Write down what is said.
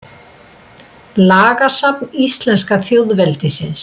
Lagasafn íslenska þjóðveldisins.